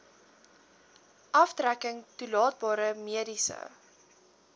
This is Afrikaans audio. aftrekking toelaatbare mediese